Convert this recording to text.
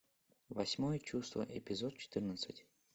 восьмое чувство эпизод четырнадцать